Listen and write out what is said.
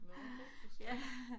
Nåh okay du strikker